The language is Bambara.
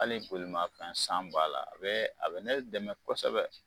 Hali bo'ima fɛn san b'a la, a bɛ a bɛ ne dɛmɛ kosɛbɛ.